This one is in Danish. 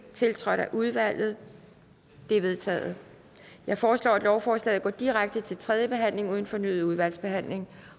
tiltrådt af udvalget det er vedtaget jeg foreslår at lovforslaget går direkte til tredje behandling uden fornyet udvalgsbehandling